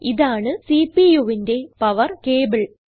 ഇതാണ് CPUവിന്റെ power cable